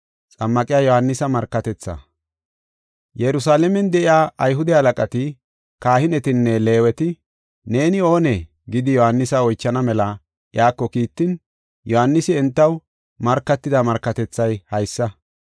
Yerusalaamen de7iya Ayhude halaqati, kahinetanne Leeweta, “Neeni oonee?” gidi, Yohaanisa oychana mela iyako kiittin, Yohaanisi entaw markatida markatethay haysa.